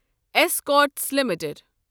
Escorts limited